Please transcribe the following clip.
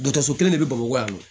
Dɔgɔtɔrɔso kelen de bɛ bamakɔ yan nɔ